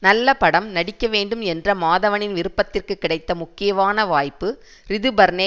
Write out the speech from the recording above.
நல்ல படம் நடிக்க வேண்டும் என்ற மாதவனின் விருப்பத்திற்கு கிடைத்த முக்கியமான வாய்ப்பு ரிதுபர்னே